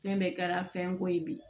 Fɛn bɛɛ kɛra fɛnko ye bi